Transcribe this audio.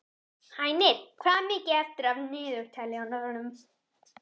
Hænir, hvað er mikið eftir af niðurteljaranum?